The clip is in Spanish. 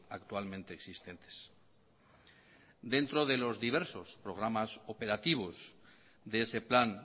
actualmente existentes dentro de los diversos programas operativos de ese plan